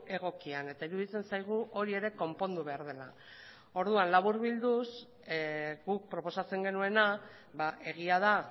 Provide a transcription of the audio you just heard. egokian eta iruditzen zaigu hori ere konpondu behar dela laburbilduz guk proposatzen genuena egia da